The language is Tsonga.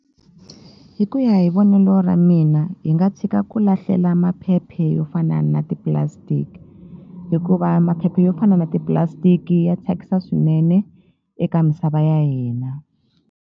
Hi ku ya hi vonelo ra mina hi nga tshika ku lahlela maphephe yo fana na ti-plastic hikuva maphephe yo fana na ti-plastic ya thyakisa swinene eka misava ya hina.